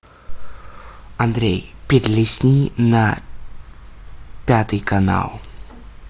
андрей перелистни на пятый канал